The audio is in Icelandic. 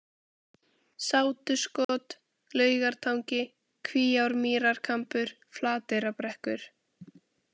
Sátuskot, Laugartangi, Kvíármýrarkambur, Flateyrarbrekkur